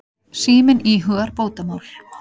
Síminn íhugar bótamál.